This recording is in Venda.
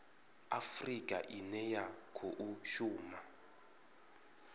afurika ine ya khou shuma